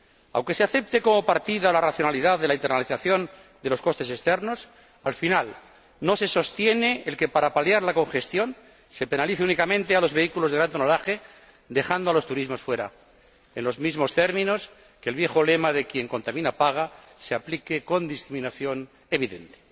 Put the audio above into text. Aunque se acepte como partida la racionalidad de la internalización de los costes externos, al final no se sostiene el que, para paliar la congestión, se penalice únicamente a los vehículos de gran tonelaje dejando los turismos fuera, en los mismos términos que el viejo lema de quien contamina paga se aplique con discriminación evidente.